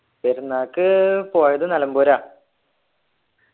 പെരുന്നാക്ക് പോയത് നിലമ്പൂരാ